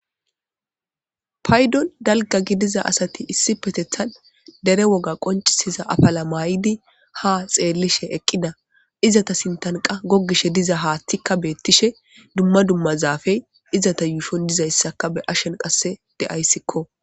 paydon dalga gidiza asati issipetethan dere woga qoncisiza afala maayidi ha xeellishe eqqida izata sintanqa goggishe diza haaththikka beettishe dumma dumma zaafey izata yuushon dizayssaka be'ashen qasse de'ayssikko